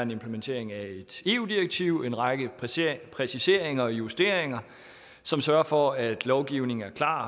en implementering af et eu direktiv en række præciseringer og justeringer som sørger for at lovgivningen er klar